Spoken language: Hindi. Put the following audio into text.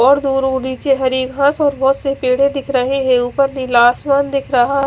और दो पेडे दिख रहे है उपर नीला आसमान दिख रहा --